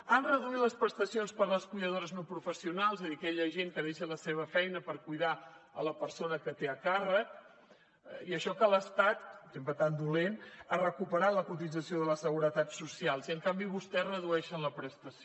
han reduït les prestacions per a les cuidadores no professionals és a dir aquella gent que deixa la seva feina per cuidar la persona que té a càrrec i això que l’estat sempre tan dolent ha recuperat la cotització de la seguretat social i en canvi vostès redueixen la prestació